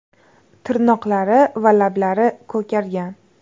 Tirnoqlari va lablari ko‘kargan.